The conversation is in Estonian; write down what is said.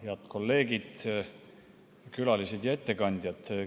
Head kolleegid, külalised ja ettekandjad!